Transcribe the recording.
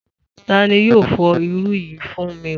Ta ni yóò fọ irú yìí fún mi?